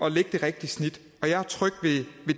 at lægge det rigtige snit og jeg er tryg ved